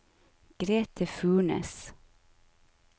Grete Furnes